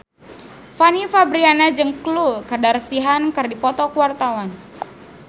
Fanny Fabriana jeung Khloe Kardashian keur dipoto ku wartawan